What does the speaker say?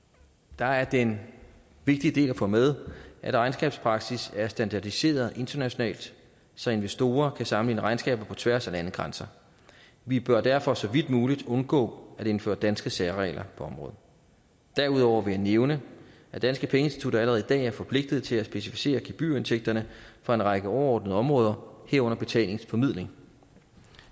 der er det en vigtig del at få med at regnskabspraksis er standardiseret internationalt så investorer kan sammenligne regnskaber på tværs af landegrænser vi bør derfor så vidt muligt undgå at indføre danske særregler på området derudover vil jeg nævne at danske pengeinstitutter allerede i dag er forpligtet til at specificere gebyrindtægterne for en række overordnede områder herunder betalingsformidling